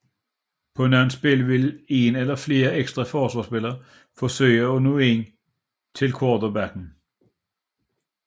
På nogle spil vil en eller flere ekstra forsvarsspillere forsøge at nå ind til quarterbacken